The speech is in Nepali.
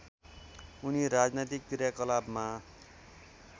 उनी राजनैतिक क्रियाकलापमा